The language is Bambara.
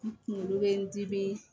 Kunkolo bɛ n dimi